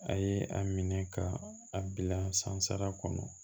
A ye a minɛ ka a bila sansara kɔnɔ